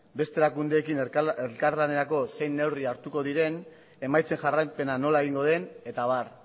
beste erakundeekin elkarlanerako zein neurri hartuko diren emaitzen jarraipena nola egingo den eta abar